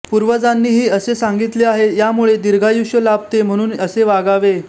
पुर्वजांनीही असे सांगीतले आहे यामुळे दीर्घायुष्य लाभते म्हणून असे वागावे